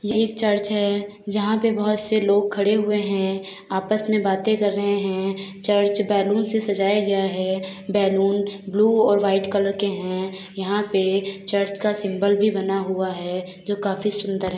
यह एक चर्च है जहां बहुत सारे लोग खड़े हुए है | आपस में बातें कर रहे है | चर्च बैलून से सजाया गया है | बैलून ब्लू और वाइट कलर के है | यहां पे चर्च का सिम्बोल भी बना हुआ है जो काफी सुंदर है ।